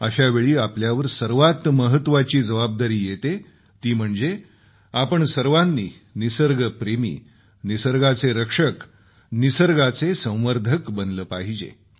अशावेळी आपल्यावर सर्वात महत्वाची जबाबदारी येते ती म्हणजे आपण सर्वांनी निसर्गप्रेमी निसर्गाचे रक्षक निसर्गाचे संवर्धक बनले पाहिजे